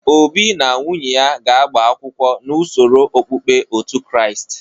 Obi na nwunye ya ga-agba akwụkwọ n'usoro okpukpe otu Kraịst.